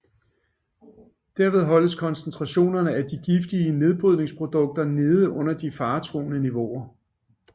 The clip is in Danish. Derved holdes koncentrationerne af de giftige nedbrydningsprodukter nede under de faretruende niveauer